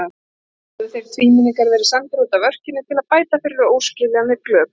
Nú höfðu þeir tvímenningar verið sendir útaf örkinni til að bæta fyrir óskiljanleg glöp.